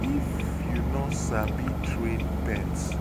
If you no sabi train pet,